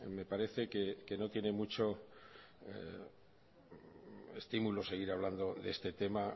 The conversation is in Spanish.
me parece que no tiene mucho estímulo seguir hablando de este tema